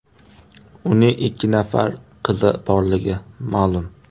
Uning ikki nafar qizi borligi ma’lum.